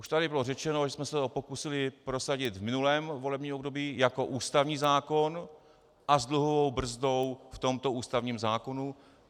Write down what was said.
Už tady bylo řečeno, že jsme se to pokusili prosadit v minulém volebním období jako ústavní zákon a s dluhovou brzdou v tomto ústavním zákoně.